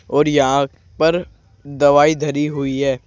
और यहां पर दवाई धरी हुई है।